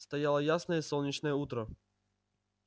стояло ясное солнечное утро